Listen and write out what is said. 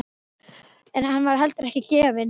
En hann var heldur ekki vel gefinn.